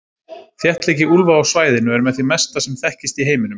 Þéttleiki úlfa á svæðinu er með því mesta sem þekkist í heiminum.